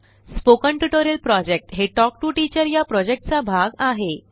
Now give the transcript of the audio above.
spoken tutorial project हे talk to teacher चा भाग आहे